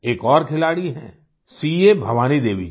एक और खिलाड़ी हैं सीए भवानी देवी जी